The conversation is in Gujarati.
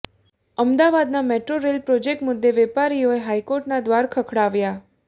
અમદાવાદના મેટ્રો રેલ પ્રોજેક્ટ મુદ્દે વેપારીઓએ હાઈકોર્ટના દ્વાર ખખડાવ્યા